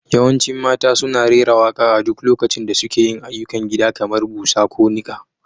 Yawancin mata suna rera waƙa a duk lokacin da suke yin ayyukan gida kamar busa ko niƙa.